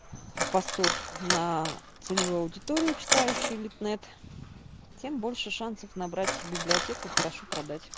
постов на целевую аудиторию читающие литнет тем больше шансов набрать в библиотеку хорошо продать